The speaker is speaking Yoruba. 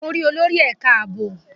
Mo rí olórí ẹ̀ka ààbò